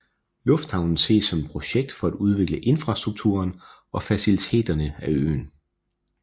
Lufthavnen ses som et projekt for at udvikle infrastrukturen og faciliteterne af øen